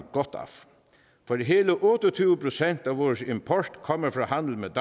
for hele otte og tyve procent af vores import kommer fra handel med